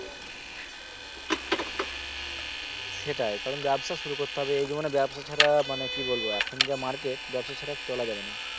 সেটাই। কারণ ব্যবসা শুরু করতে হবে এই জীবনে ব্যবসা ছাড়া মানে কি বলবো এখন যা market ব্যবসা ছাড়া চলা যাবে না